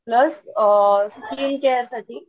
plus skin care साठी